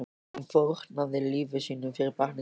Hún fórnaði lífi sínu fyrir barnið sitt.